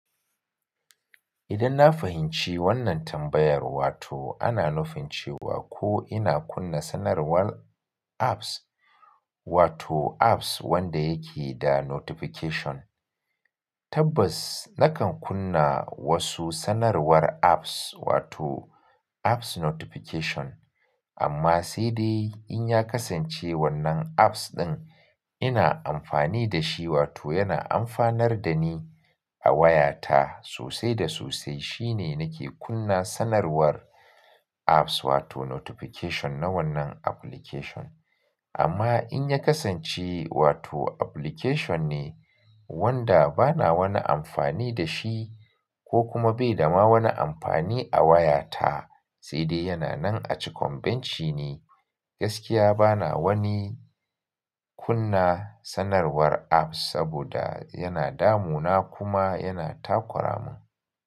Idan na fahimci wannan tambayar, wato ana nufin cewa ko ina kunna sanarwar apps, wato apps wanda yake da notification. Tabbas nakan kunna wasu sanarwar apps, wato apps notification amma sai dai in ya kasance wannan apps ɗin ina amfani da shi, wato yana amfanar da ni a wayata sosai da sosai shine nake kunna sanarwar apps wato notification na wannan application. Amma in ya kasance wato application ne wanda bana woni amfani da shi ko kuma bai da ma woni amfani a wayata sai dai yana nan a cikon bench ne, gaskiya bana woni kunna sanarwar apps saboda yana damuna kuma yana takura mun.